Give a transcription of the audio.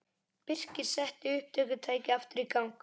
Birkir setti upptökutækið aftur í gang.